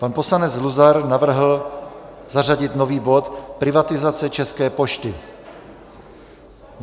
Pan poslanec Luzar navrhl zařadit nový bod Privatizace České pošty.